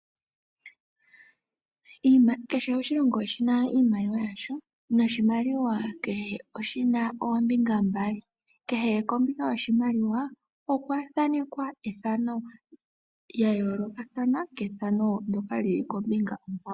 Kehe oshilongo oshina iimaliwa yasho noshimaliwa kehe oshina oombinga mbali. Kehe kombinga yoshimaliwa okwa thaanekwa ethano lya yoolokathana kethano ndyoka lili kombinga onkwawo.